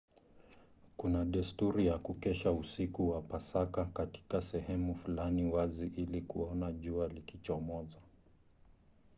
kuna desturi ya kukesha usiku wa pasaka katika sehemu fulani wazi ili kuona jua likichomoza